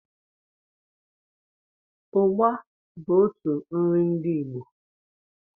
ụgba bụ out nri ndi Igbo